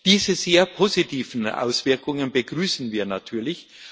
Diese sehr positiven Auswirkungen begrüßen wir natürlich.